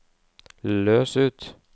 løs ut